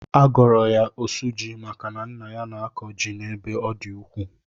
A gọrọ ya osuji maka na nna ya na-akọ ji n'ebe ọ dị ukwuu.